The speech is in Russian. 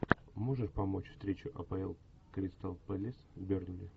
можешь помочь встреча апл кристал пэлас бернли